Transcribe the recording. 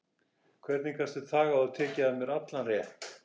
Hvernig gastu þagað og tekið af mér allan rétt?